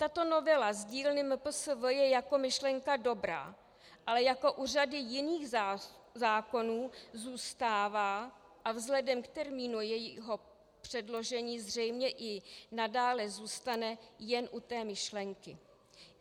Tato novela z dílny MPSV je jako myšlenka dobrá, ale jako u řady jiných zákonů zůstává a vzhledem k termínu jejího předložení zřejmě i nadále zůstane jen u té myšlenky.